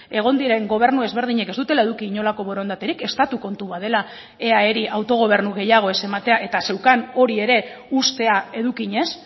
egon diren gobernu ezberdinek ez dutela eduki inolako borondaterik estatu kontua dela eaeri autogobernu gehiago ez ematea eta zeukan hori ere uztea edukiez